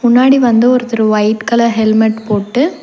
முன்னாடி வந்து ஒருத்தரு வொய்ட் கலர் ஹெல்மெட் போட்டு.